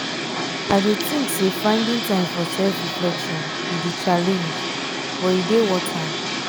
i dey think say finding time for self-reflection be di challenge but e dey worth am. um